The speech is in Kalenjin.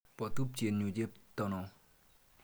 Po tupchenyu chepto no.